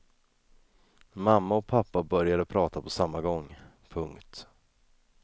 Mamma och pappa började prata på samma gång. punkt